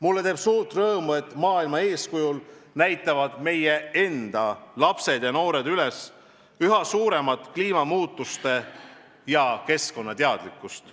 Mulle teeb suurt rõõmu, et muu maailma eeskujul näitavad meie lapsed ja noored üles üha suuremat kliimamuutustealast ja üldse keskkonnateadlikkust.